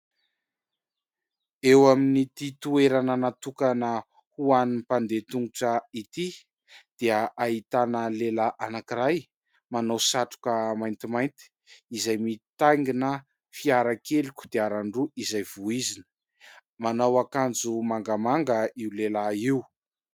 Eo amin'ity toerana natokana ho an'ny mpandeha tongotra ity dia ahitana lehilahy anankiray manao satroka maintimainty izay mitaingina fiara kely kodiaran-droa izay vohizina. Manao akanjo mangamanga io lehilahy io.